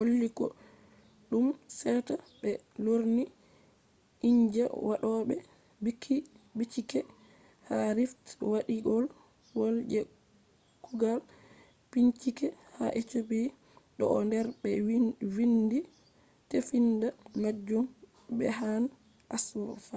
holli koɗume seta ɓe lorni inji waɗoɓe bincike ha rift waadiwol je kugal bincike ha ethiopia bo o do der be vindi tefinda majum berhane asfaw